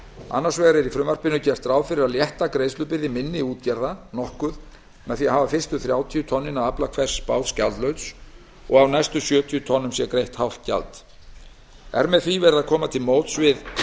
annars vegar er í frumvarpinu gert ráð fyrir að létta gjaldbyrði minni útgerða nokkuð með því að hafa fyrstu þrjátíu tonnin af afla hvers báts gjaldlaus og að af næstu sjötíu tonnum sé greitt hálft gjald er með því verið að koma til móts við